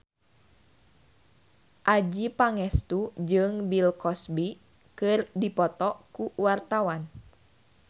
Adjie Pangestu jeung Bill Cosby keur dipoto ku wartawan